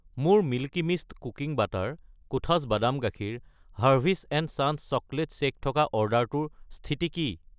মোৰ Milky Mist ৰন্ধা বাটাৰ , কোঠাছ বাদাম গাখীৰ , হাৰ্ভীছ এণ্ড চান্‌ছ চকলেট শ্বেক থকা অৰ্ডাৰটোৰ স্থিতি কি?